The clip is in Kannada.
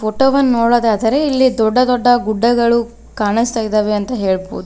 ಟೊಗನ್ ನೋಡೋದಾದ್ರೆ ಇಲ್ಲಿ ದೊಡ್ಡ ದೊಡ್ಡ ಗುಡ್ಡಗಳು ಕಾಣಿಸ್ತಾ ಇದಾವೆ ಅಂತ ಹೇಳಬಹುದು.